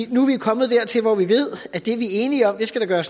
vi nu er kommet dertil hvor vi ved at det vi er enige om skal der